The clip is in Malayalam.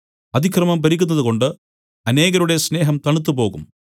അതിക്രമം പെരുകുന്നതുകൊണ്ട് അനേകരുടെ സ്നേഹം തണുത്തുപോകും